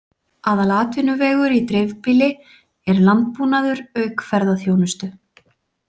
Aðalatvinnuvegur í dreifbýli er landbúnaður auk ferðaþjónustu.